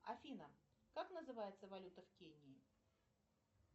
афина как называется валюта в кении